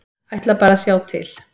Ætla bara að sjá til.